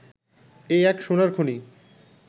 এ এক সোনার খনি